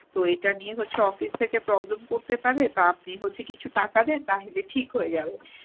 তো এটা নিয়ে হচ্ছে office থেকে problem করতে পারে তো আপনি হচ্ছে কিছু টাকা দেন তাহলে ঠিক হয়ে যাবে।